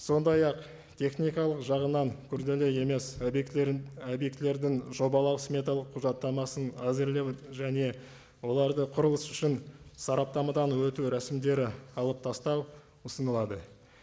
сондай ақ техникалық жағынан күрделі емес объектілерін і объектілердің жобалау сметалық құжаттамасын әзірлеу және оларды құрылыс үшін сараптамадан өту рәсімдері алып тастау ұсынылады